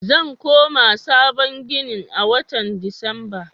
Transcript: Zan koma sabon ginin a watan Disamba.